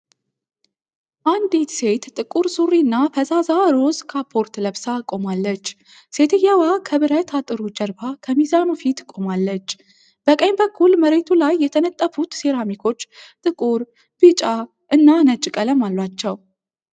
አንዲት ሴት ጥቁር ሱሪ እና ፈዛዛ ሮዝ ካፖርት ለብሳ ቆማለች። ሴትየዋ ከብረት አጥሩ ጀርባ ከሚዛኑ ፊት ቆማለች። በቀኝ በኩል መሬቱ ላይ የተነጠፉት ሴራሚኮች ጥቁር፣ ቢጫ እና ነጭ ቀለም አሏቸው።